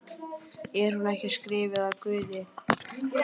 Er hún ekki skrifuð af Guði?